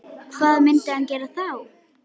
Hvað myndi hann gera þá?